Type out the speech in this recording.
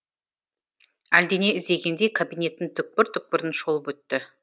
әлдене іздегендей кабинеттің түкпір түкпірін шолып өтті